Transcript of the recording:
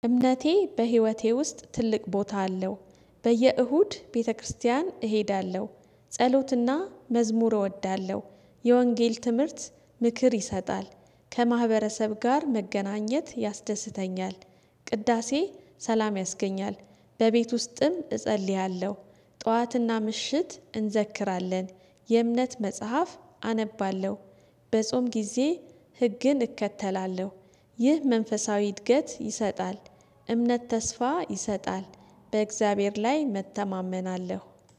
እምነቴ በህይወቴ ውስጥ ትልቅ ቦታ አለው። በየእሁድ ቤተክርስቲያን እሄዳለሁ ጸሎትና መዝሙር እወዳለሁ የወንጌል ትምህርት ምክር ይሰጣል ከማህበረሰብ ጋር መገናኘት ያስደስተኛል። ቅዳሴ ሰላም ያስገኛል በቤት ውስጥም እጸልያለሁ ጠዋትና ምሽት እንዘክራለን የእምነት መጽሐፍ አነባለሁ። በጾም ጊዜ ህግን እከተላለሁ። ይህ መንፈሳዊ እድገት ይሰጣል። እምነት ተስፋ ይሰጣል በእግዚአብሔር ላይ መተማመን አለው